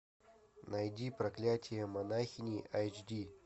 найди проклятие монахини айч ди